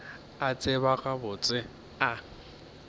a tseba gabotse gore a